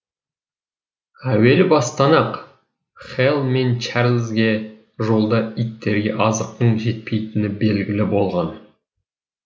әуел бастан ақ хэл мен чарльзге жолда иттерге азықтың жетпейтіні белгілі болған